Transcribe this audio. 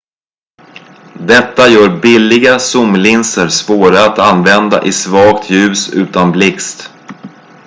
detta gör billiga zoomlinser svåra att använda i svagt ljus utan blixt